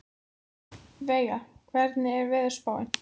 Veiga, hvernig er veðurspáin?